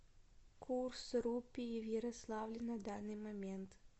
курс рупии в ярославле на данный момент